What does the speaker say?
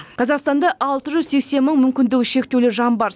қазақстанда алты жүз сексен мың мүмкіндігі шектеулі жан бар